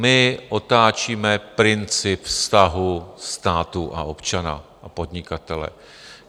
My otáčíme princip vztahu státu a občana a podnikatele.